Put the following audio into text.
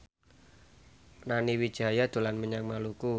Nani Wijaya dolan menyang Maluku